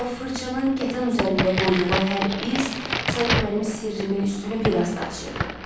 Amma fırçanın kətan üzərində qoyduğu hər iz sanki mənim sirrimin üstünü bir az da açırdı.